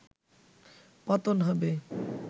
পতন হবে